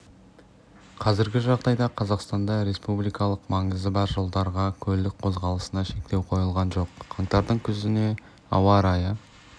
қазіргі жағдайда қазақстанда республикалық маңызы бар жолдардағы көлік қозғалысына шектеу қойылған жоқ қаңтардың күніне ауа райы